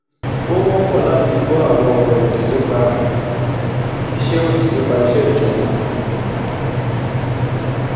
ó wọpọ láti gbọ àwọn ọrọ òdì nípa iṣẹ òdì nípa iṣẹ ìjọba